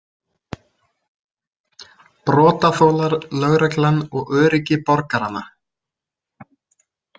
Brotaþolar, lögreglan og öryggi borgaranna.